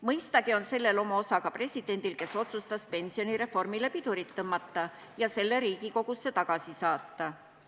Mõistagi on siin oma osa ka presidendil, kes otsustas pensionireformile pidurit tõmmata ja selle seaduse Riigikogusse tagasi saata.